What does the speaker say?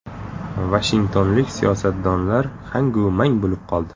Vashingtonlik siyosatdonlar hangu mang bo‘lib qoldi.